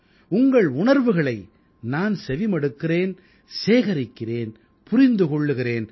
உங்கள் உணர்வுகளை நான் செவி மடுக்கிறேன் சேகரிக்கிறேன் புரிந்து கொள்கிறேன்